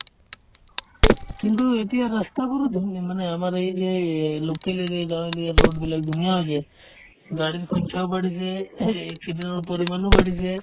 কিন্তু এতিয়া ৰাস্তাবোৰো ধুনীয়া মানে আমাৰ এই যে এই local area গাঁৱলীয়া road বিলাক ধুনীয়া হৈছে গাড়ীৰ সংখ্যাও বাঢ়িছে student ৰ পৰিমাণো বাঢ়িছে